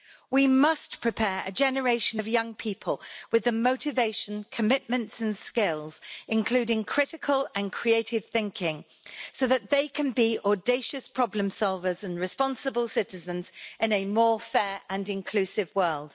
We must prepare a generation of young people with the motivation, commitments and skills, including critical and creative thinking, so that they can be audacious problem solvers and responsible citizens in a more fair and inclusive world.